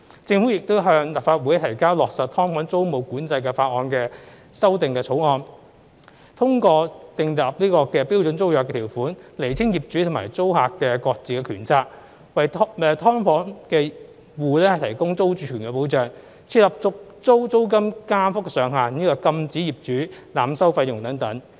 政府亦已向立法會提交落實"劏房"租務管制法例的修訂草案，通過訂立標準租約條款釐清業主和租客的各自權責、為"劏房戶"提供租住權保障、設立續租租金加幅上限，以及禁止業主濫收費用等。